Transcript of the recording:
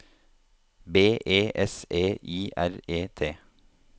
B E S E I R E T